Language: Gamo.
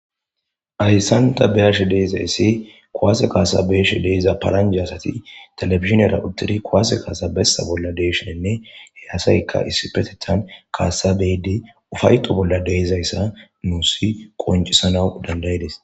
Hayssanta beyashe diizayssi kowaase kaasabeyashe deiza paranje asati telefiziniyera uttiri kowase kaasa bessa bolla deeshinenne he asaykka issipetethan kaasabeydi ufayqo bolla deizayssa nuusi qoncisana dandayides